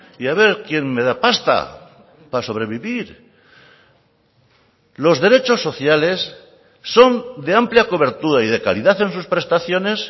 y a ver quién me da pasta para sobrevivir los derechos sociales son de amplia cobertura y de calidad en sus prestaciones